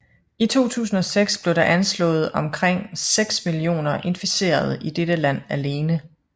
I 2006 blev der anslået omkring 6 millioner inficerede i dette land alene